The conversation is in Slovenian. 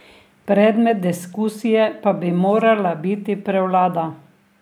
Predmet diskusije pa bi morala biti prevlada.